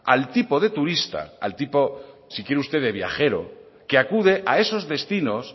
al tipo de turista al tipo si quiere usted de viajero que acude a esos destinos